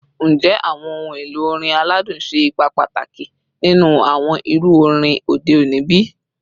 Njẹ awọn ohun elo orin aladun ṣe ipa pataki ninu awọn iru orin ode oni bi?